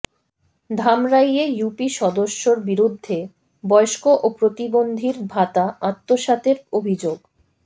ধামরাইয়ে UP সদস্যর বিরুদ্ধে বয়স্ক ও প্রতিবন্ধীর ভাতা আত্মসাতের অভিযোগ